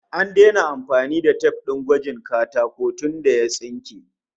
An daina amfani da tif din gwajin tsawon katakon tunda ya tsunke